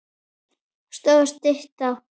Stoð og stytta.